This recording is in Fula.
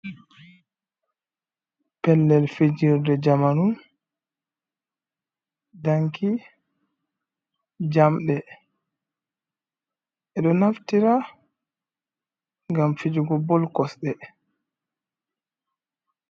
Pellel fijirde jamanu, danki jamɗe, ɓe ɗo naftira ngam fijugo bol kosɗe.